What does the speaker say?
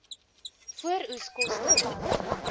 vooroeskoste plant